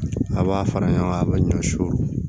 A b'a fara ɲɔgɔn kan a bɛ ɲɔsi